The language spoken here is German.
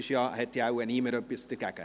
Es hat wohl niemand etwas dagegen.